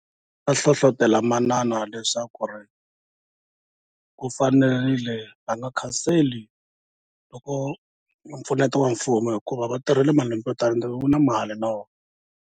hlohlotela manana leswaku ri ku fanerile va nga khanseli loko mpfuneto wa mfumo hikuva va tirhile malembe yo tala and wu na mali na wona.